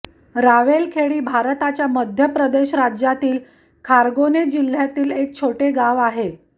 रावेरखेडी भारताच्या मध्य प्रदेश राज्यातील खर्गोने जिल्ह्यातील एक छोटे गाव आहे